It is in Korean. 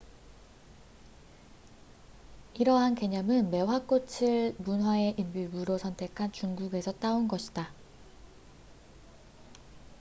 이러한 개념은 매화꽃을 문화의 일부로 선택한 중국에서 따온 것이다